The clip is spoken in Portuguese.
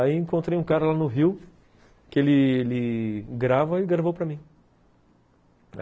Aí encontrei um cara lá no Rio que ele ele grava e gravou para mim.